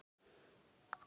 Þú varst nagli.